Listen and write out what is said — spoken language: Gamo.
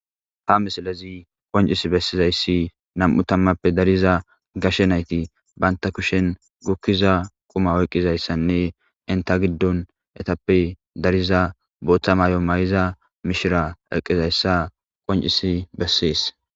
Ha misilezi qoncis bessizayssi nam'u tammappe dariza gashe nayti banta kushen gukkiza quma oyqqizayssanne inta giddon etappe dariza booththa maay'o may'iza mishira eqqizayssa qoncisi bessees